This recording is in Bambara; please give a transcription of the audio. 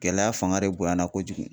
Gɛlɛya fanga de bonyana kojugu